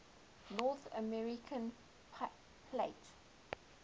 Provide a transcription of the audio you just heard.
north american plate